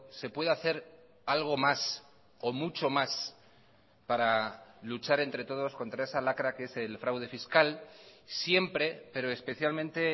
se puede hacer algo más o mucho más para luchar entre todos contra esa lacra que es el fraude fiscal siempre pero especialmente